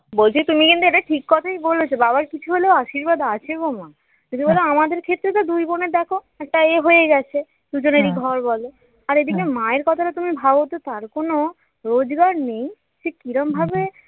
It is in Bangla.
বলছি তুমি কিন্তু এটা ঠিক কথাই বলেছ বাবার কিছু হলেও আশীর্বাদ আছে গো মা যদি বলো আমাদের ক্ষেত্রে তো দুই বোনের দেখ একটা এ হয়ে গেছে দুজনেরই ঘর বলো আর এইদিকে মায়ের কথাটা তুমি ভাবতো তার কোন রোজগার নেই সে কিরকম ভাবে